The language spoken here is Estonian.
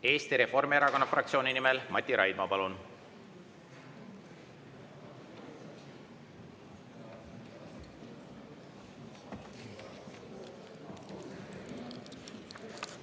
Eesti Reformierakonna fraktsiooni nimel Mati Raidma, palun!